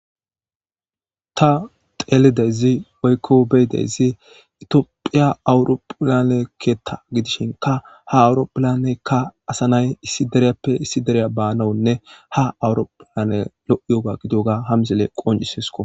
ta teelidezi oykko beydezi itiophiya awurophilanekeetta gidishinka ha awuropilanekka asanay issi deriyappe issi dereya baanawunne ha awuropilane lo7yoga gidiyoga hamsile qoncisesko